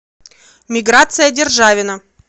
миграция державина